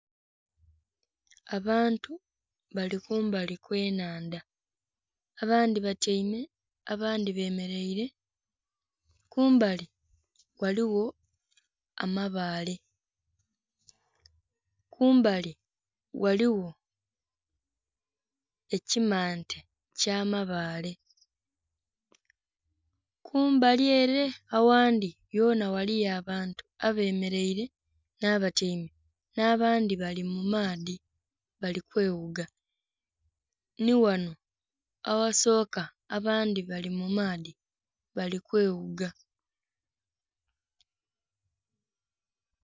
Abantu bali kumbali kwenhandha abandhi batyaime abandhi bameraire kumbali ghaligho amabaale, kumbali ghaligho ekimante eky'amabaale. Kumbali ere aghandhi ghona ghaliyo abantu abemeraire n'abatyaime, n'abandhi bali mumaadhi bali kweghuga nighano aghasoka abandhi bali mumaadhi bali kweghuga.